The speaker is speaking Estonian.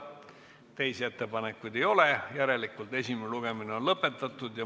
Teisi ettepanekuid ei ole, järelikult on esimene lugemine lõppenud.